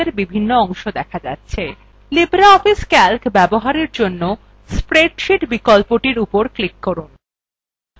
libreoffice calc ব্যবহারের জন্য spreadsheet বিকল্পটির উপর click করুন